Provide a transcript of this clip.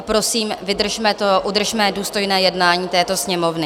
A prosím, vydržme to, udržme důstojné jednání této Sněmovny.